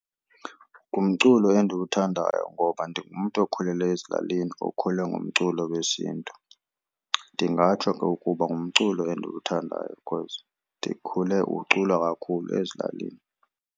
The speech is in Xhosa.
Ngumculo endiwuthandayo ngoba ndingumntu okhulele ezilalini okhule ngumculo wesiNtu. Ndingatsho ke ukuba ngumculo endiwuthandayo because ndikhule uculwa kakhulu ezilalini.